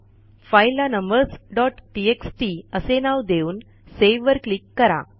फाईलला numbersटीएक्सटी असे नाव देऊन सेव्हवर क्लिक करा